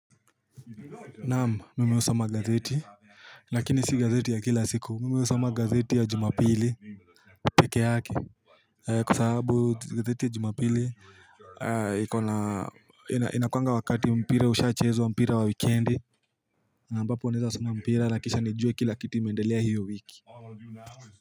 Naamu, mimi husoma gazeti. Lakini si gazeti ya kila siku, mimi husoma gazeti ya Jumapili peke yake. Kwa sahabu gazeti ya Jumapili, inakuwanga wakati mpira ushaachezwa mpira wa wikendi ambapo naweza soma mpira na kisha nijue kila kitu imeendelea hio wiki.